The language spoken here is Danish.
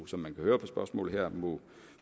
som man kan høre på spørgsmålet her må